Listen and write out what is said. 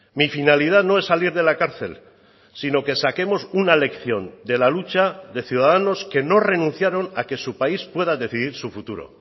mi finalidad no es salir de la cárcel sino que saquemos una lección de la lucha de ciudadanos que no renunciaron a que su país pueda decidir su futuro